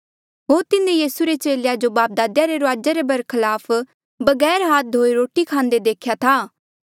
होर तिन्हें यीसू रे चेलेया जो बापदादेया रे रुआजा रे बरखलाफ बगैर हाथ धोये रोटी खांदे देख्या था